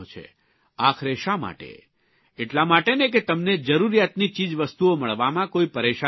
આખરે શા માટે એટલા માટેને કે તમને જરૂરિયાતની ચીજવસ્તુઓ મળવામાં કોઇ પરેશાની ન થાય